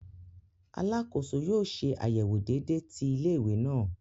Alàkóso yóò ṣe àyẹwò déédé ti ilé-ìwé náà